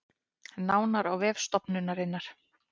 Nánar á vef stofnunarinnar